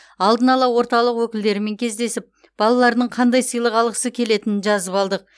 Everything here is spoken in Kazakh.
алдын ала орталық өкілдерімен кездесіп балалардың қандай сыйлық алғысы келетінін жазып алдық